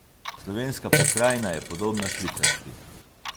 Slovenska pokrajina je podobna švicarski.